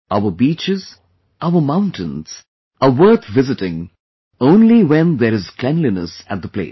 Our beaches, our mountains are worth visiting only when there is cleanliness at the place